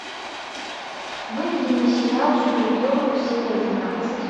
выведи мне сериал супергерл серия двенадцать